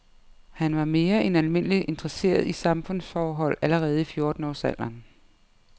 Han var mere end almindeligt interesseret i samfundsforhold allerede i fjorten års alderen.